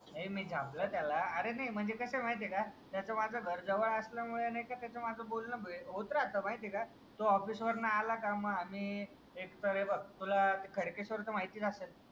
नाही मी झापला त्याला अरे नाही म्हणजे कसं माहिती आहे का त्याचा माझा घर जवळ असल्याने त्याचं माझं बोलणं होतं राहतं माहिती आहे का. तो ऑफिस वरून आला का मग आम्ही एक तर आम्ही हे बाग तुला खडकेश्वरचं माहितीच असेल.